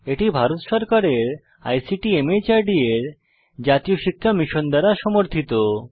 এটি ভারত সরকারের আইসিটি মাহর্দ এর জাতীয় শিক্ষা মিশন দ্বারা সমর্থিত